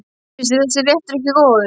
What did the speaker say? Finnst þér þessi réttur ekki góður?